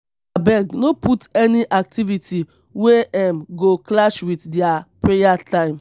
abeg no put any activity wey um go clash with their prayer time.